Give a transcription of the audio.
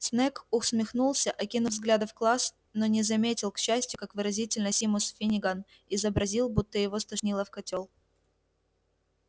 снегг усмехнулся окинув взглядом класс но не заметил к счастью как выразительно симус финниган изобразил будто его стошнило в котёл